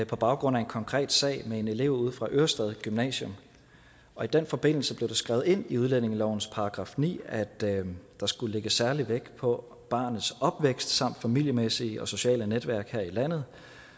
på baggrund af en konkret sag med en elev ude fra ørestad gymnasium og i den forbindelse blev der skrevet ind i udlændingelovens § ni at der skulle lægges særlig vægt på barnets opvækst samt familiemæssige og sociale netværk her i landet